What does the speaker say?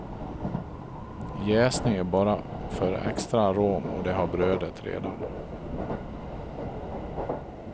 Jäsning är bara för extra arom och det har brödet redan.